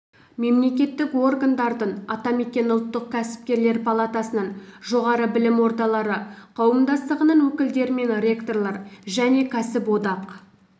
мемлекеттік органдардың атамекен ұлттық кәсіпкерлер палатасының жоғары білім ордалары қауымдастығының өкілдері мен ректорлар және кәсіподақ